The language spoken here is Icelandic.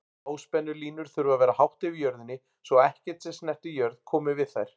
Háspennulínur þurfa að vera hátt yfir jörðinni svo ekkert sem snertir jörð komi við þær.